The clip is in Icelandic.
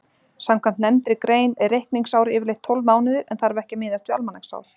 Samkvæmt nefndri grein er reikningsár yfirleitt tólf mánuðir en þarf ekki að miðast við almanaksár.